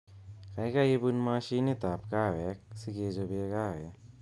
Kaikai ibun mashinitab kahawek sikechobe kahawek